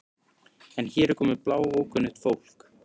En hér er komið bláókunnugt fólk.